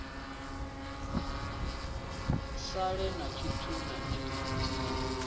sale na tshithu na tshithihi